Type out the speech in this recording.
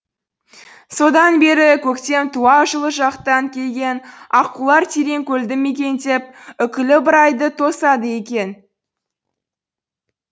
содан бері көктем туа жылы жақтан келген аққулар тереңкөлді мекендеп үкілі ыбырайды тосады екен